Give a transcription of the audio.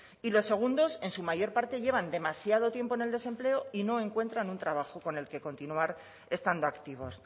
y los segundos en su mayor parte llevan demasiado tiempo en el desempleo y no encuentran un trabajo con el que continuar estando activos